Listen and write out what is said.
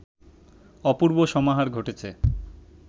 অপূর্ব সমাহার ঘটেছে